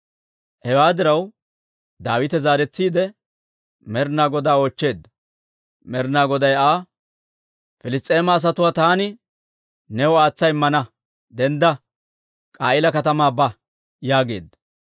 Hewaa diraw, Daawite zaaretsiide Med'inaa Godaa oochcheedda; Med'inaa Goday Aa, «Piliss's'eema asatuwaa taani new aatsa immana; dendda; K'a'iila katamaa ba» yaageedda.